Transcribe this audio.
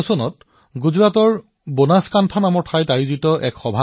২০১৬ চনত গুজৰাটৰ বনাসকাণ্ঠাত এটা অনুষ্ঠান অনুষ্ঠিত হৈছিল